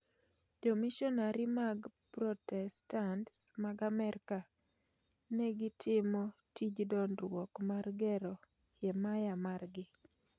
Jomishonari mag protestants mag Amerka ne gitimo tij dongruok mar "gero himaya margi".